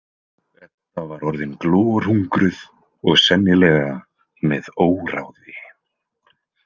Edda var orðin glorhungruð og sennilega með óráði.